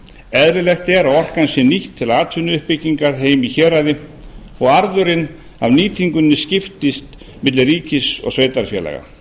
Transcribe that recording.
eðlilegt er að orkan sé nýtt til atvinnuuppbyggingar heima í héraði og arðurinn af nýtingunni skiptist milli ríkis og sveitarfélaga